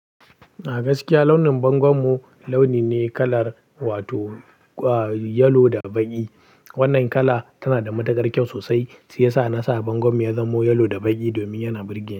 A gaskiya launin bangon mu launi ne kalar wato kwari. Yalo da baƙi. Wannan kala tana da matukar kyau sosai shiyasa nasa bangon mu ya zamo yalo da baƙi domin yana burge.